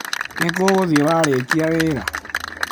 Nĩ kũ ũgũthiĩ warĩkia wĩra?